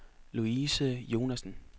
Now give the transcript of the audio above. Louise Jonassen